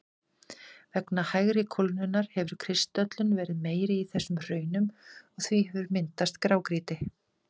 Vegna hægari kólnunar hefur kristöllun verið meiri í þessum hraunum og því hefur myndast grágrýti.